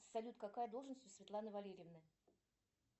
салют какая должность у светланы валерьевны